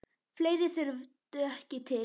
Fleira þurfti ekki til.